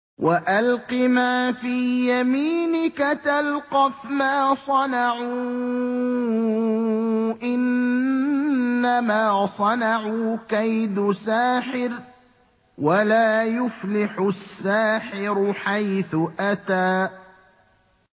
وَأَلْقِ مَا فِي يَمِينِكَ تَلْقَفْ مَا صَنَعُوا ۖ إِنَّمَا صَنَعُوا كَيْدُ سَاحِرٍ ۖ وَلَا يُفْلِحُ السَّاحِرُ حَيْثُ أَتَىٰ